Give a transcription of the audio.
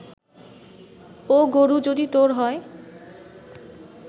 ও গোরু যদি তোর হয়